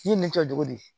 Ni nin kɛcogo di